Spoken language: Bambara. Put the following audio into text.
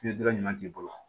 Fili dɔrɔn t'i bolo